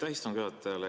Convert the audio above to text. Aitäh istungi juhatajale!